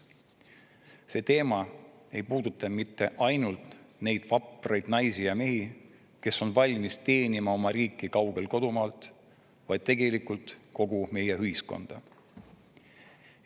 See teema ei puuduta mitte ainult neid vapraid naisi ja mehi, kes on valmis teenima oma riiki kaugel kodumaast, vaid tegelikult kogu meie ühiskonda.